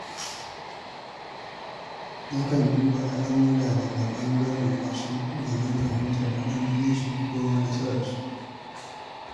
Nakan duba al’amura daga ɓangaren wasu domin fahimtar matsalolinsu ko nasararsu.